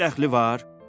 Heç dəxli var?